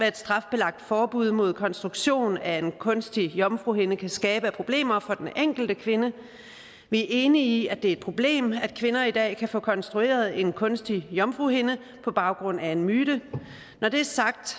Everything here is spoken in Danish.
et strafbelagt forbud mod konstruktionen er en kunstig jomfruhinde kan skabe af problemer for den enkelte kvinde vi er enige i at det er et problem at kvinder i dag kan få konstrueret en kunstig jomfruhinde på baggrund af en myte når det er sagt